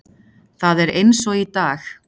Það er eins og í dag.